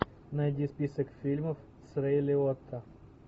найди список фильмов с рейли отто